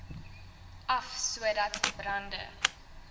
af sodat brande